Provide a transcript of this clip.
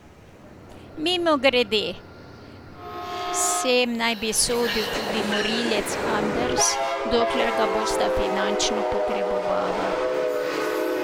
Mimogrede, sem naj bi sodil tudi Morilec Anders, dokler ga bosta finančno potrebovala.